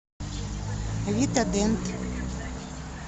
вита дент